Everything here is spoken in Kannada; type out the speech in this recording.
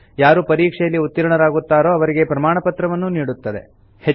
ಯಾರು ಆನ್ ಲೈನ್ ಪರೀಕ್ಷೆಯಲ್ಲಿ ಉತ್ತೀರ್ಣರಾಗುತ್ತಾರೋ ಅವರಿಗೆ ಪ್ರಮಾಣಪತ್ರವನ್ನೂ ನೀಡುತ್ತದೆ